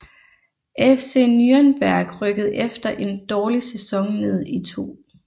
FC Nürnberg rykkede efter en dårlig sæson ned i 2